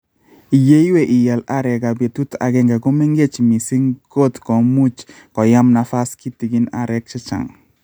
Yeiwe, ial arekab betut agenge ko mengech miising kot komuchi koyam nafas kitigin areek che chang